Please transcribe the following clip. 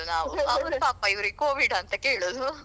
ಅದೇ ಅದೇ ಅದೇ ಸಮಸ್ಯೆ.